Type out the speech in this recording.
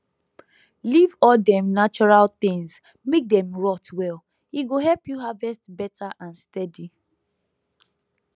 leave all dem natural things make dem rot well e go help you harvest better and steady